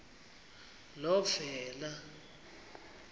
novena